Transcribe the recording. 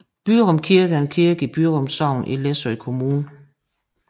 Byrum Kirke er en kirke i Byrum Sogn i Læsø Kommune